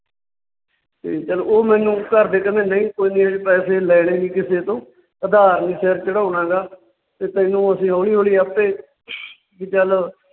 ਤੇ ਚੱਲ ਉਹ ਮੈਨੂੰ ਘਰਦੇ ਕਹਿੰਦੇ ਨਈਂ ਕੋਈ ਨਈਂ ਅਸੀਂ ਪੈਸੇ ਲੈਣੇ ਨੀ ਕਿਸੇ ਤੋਂ, ਉਧਾਰ ਨਹੀਂ ਸਿਰ ਚੜਾਉਣਾ ਗਾ ਵੀ ਤੈਨੂੰ ਅਸੀਂ ਹੌਲੀ ਹੌਲੀ ਆਪੇ ਵੀ ਚੱਲ